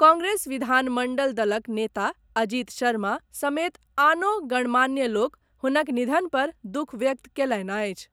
कांग्रेस विधानमंडल दलक नेता अजीत शर्मा समेत आनो गणमान्य लोक हुनक निधन पर दुःख व्यक्त कयलनि अछि।